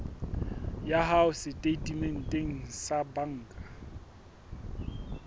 ya hao setatementeng sa banka